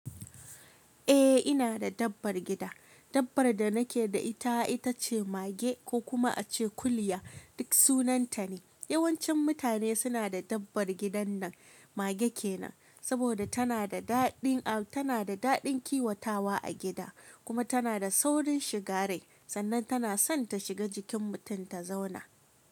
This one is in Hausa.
Eh ina da dabbar gida. Dabbar da nake da ita, ita ce mage ko kuma ace kuliya duk sunan ta ne. Yawancin mutane suna da dabbar gidan nan, mage kenan. Saboda tana da daɗin, tana da daɗin kiwatawa a gida, kuma tana da saurin shiga rai. Sannan tana son ta shiga jikin mutum ta zauna.